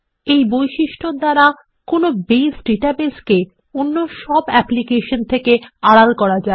এই বৈশিষ্ট্যর দ্বারা একটি বেস ডাটাবেসকে অন্যান্য সব অ্যাপ্লিকেশন থেকে আড়াল করা যায়